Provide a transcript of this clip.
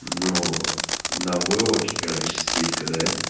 вот на войлоке короче стелька да